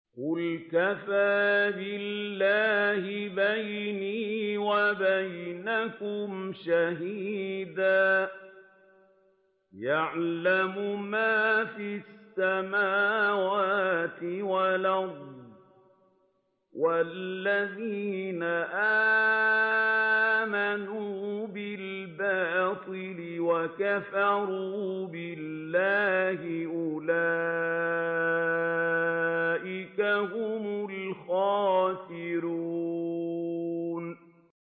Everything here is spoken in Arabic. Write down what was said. قُلْ كَفَىٰ بِاللَّهِ بَيْنِي وَبَيْنَكُمْ شَهِيدًا ۖ يَعْلَمُ مَا فِي السَّمَاوَاتِ وَالْأَرْضِ ۗ وَالَّذِينَ آمَنُوا بِالْبَاطِلِ وَكَفَرُوا بِاللَّهِ أُولَٰئِكَ هُمُ الْخَاسِرُونَ